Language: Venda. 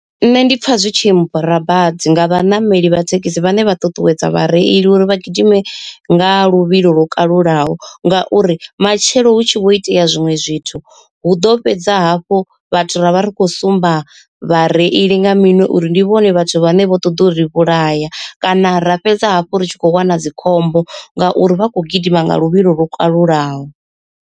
Nṋe ndi pfha zwi tshi mmbora badi nga vhaṋameli vha thekhisi vhane vha ṱuṱuwedza vhareili uri vha gidime nga luvhilo lwo kalulaho, ngauri matshelo hutshi vho itea zwiṅwe zwithu hu ḓo fhedza hafhu vhathu ra vha ri khou sumba vhareili nga miṅwe uri ndi vhone vhathu vhane vho ṱoḓa uri vhulaya, kana ra fhedza hafhu ri tshi khou wana dzikhombo ngauri vha kho gidima nga luvhilo lwo kalulaho.